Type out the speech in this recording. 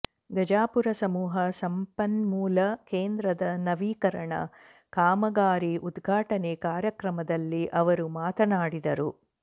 ಗಜಾಪುರ ಸಮೂಹ ಸಂಪನ್ಮೂಲ ಕೇಂದ್ರದ ನವೀಕರಣ ಕಾಮಗಾರಿ ಉದ್ಘಾಟನೆ ಕಾರ್ಯಕ್ರಮದಲ್ಲಿ ಅವರು ಮಾತನಾಡಿದರು